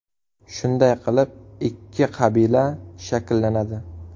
Shunday qilib, ikki qabila shakllanadi.